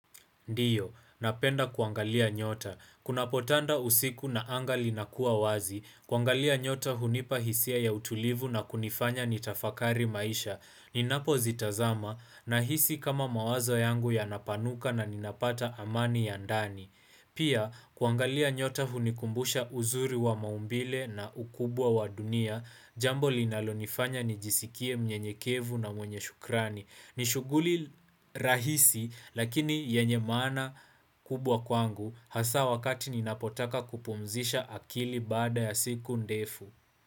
Ndiyo, napenda kuangalia nyota. Kunapo tanda usiku na anga linakua wazi, kuangalia nyota hunipa hisia ya utulivu na kunifanya nitafakari maisha. Ninapo zitazama na hisi kama mawazo yangu yanapanuka na ninapata amani ya ndani. Pia, kuangalia nyota hunikumbusha uzuri wa maumbile na ukubwa wa dunia, jambo linalonifanya nijisikie mnyenyekevu na mwenye shukrani. Nishuguli rahisi lakini yenye maana kubwa kwangu hasa wakati ninapotaka kupumzisha akili baada ya siku ndefu.